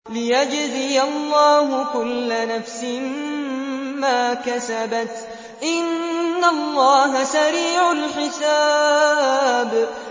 لِيَجْزِيَ اللَّهُ كُلَّ نَفْسٍ مَّا كَسَبَتْ ۚ إِنَّ اللَّهَ سَرِيعُ الْحِسَابِ